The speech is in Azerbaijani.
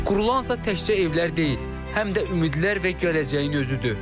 Qurulansa təkcə evlər deyil, həm də ümidlər və gələcəyin özüdür.